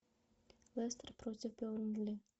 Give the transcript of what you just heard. лестер против бернли